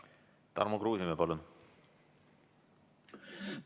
Tarmo Kruusimäe, palun!